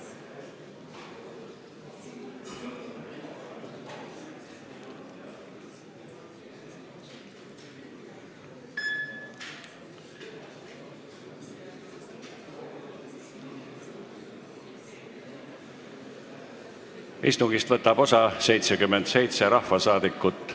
Kohaloleku kontroll Istungist võtab osa 77 rahvasaadikut.